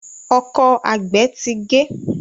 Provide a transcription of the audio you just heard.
Ọkọ́ àgbè tí gé.